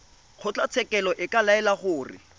kgotlatshekelo e ka laela gore